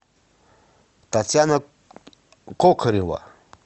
татьяна кокорева